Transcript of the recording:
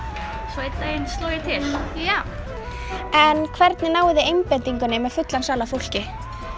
svo einn daginn sló ég til en hvernig náið þið einbeitingunni með fullan sal af fólki